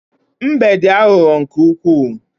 Mbe dị aghụghọ nke ukwuu.